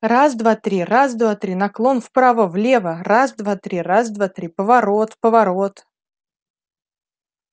раз два три раз два три наклон вправо влево раз два три раз два три поворот поворот